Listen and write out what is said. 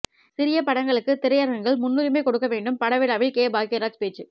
சிறிய படங்களுக்கு திரையரங்குகள் முன்னுரிமை கொடுக்க வேண்டும் படவிழாவில் கே பாக்யராஜ் பேச்சு